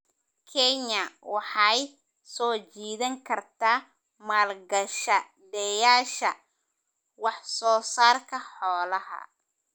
Kenya waxay soo jiidan kartaa maalgashadayaasha wax soo saarka xoolaha.